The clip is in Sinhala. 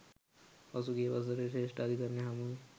පසුගිය වසරේ ශ්‍රේෂ්ඨාධිකරණය හමුවේ